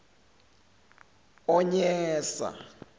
onyesa